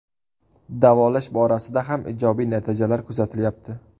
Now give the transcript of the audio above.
Davolash borasida ham ijobiy natijalar kuzatilyapti.